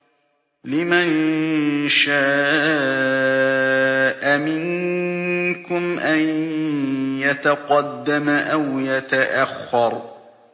لِمَن شَاءَ مِنكُمْ أَن يَتَقَدَّمَ أَوْ يَتَأَخَّرَ